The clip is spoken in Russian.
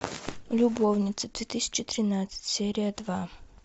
любовницы две тысячи тринадцать серия два